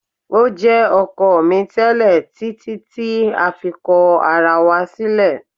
O jẹ ọkọ mi tẹlẹ titi ti a fi kọ ara wa silẹ